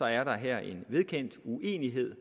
er der her en vedkendt uenighed